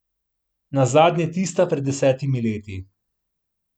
Nazadnje tista pred desetimi leti.